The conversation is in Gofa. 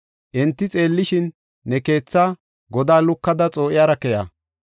Enti xeellishin, ne keethaa godaa lukada xoo7iyara keya.